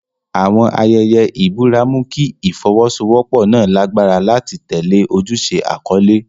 Àwọn ayẹyẹ ìbúra mú kí ìfọwọ́sowọ́pọ̀ náà lágbára láti tẹ̀lé ojúṣe àkọ́lé.